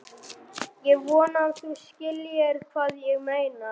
Ég vona að þú skiljir hvað ég meina.